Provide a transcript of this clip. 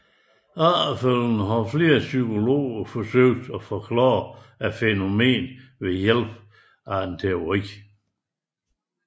Efterfølgende har flere psykologer forsøgt at forklare fænomenet ved hjælp af en teori